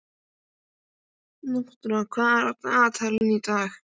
Náttúra, hvað er á dagatalinu í dag?